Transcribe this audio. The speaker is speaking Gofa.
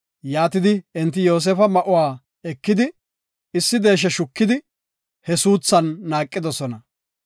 Enti Yoosefa ma7uwa ekidi, issi deeshe shukidi, he suuthan naaqidosona.